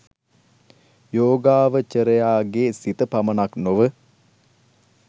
යෝගාවචරයාගේ සිත පමණක් නොව